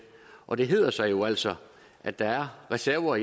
og det hedder sig jo altså at der er reserverer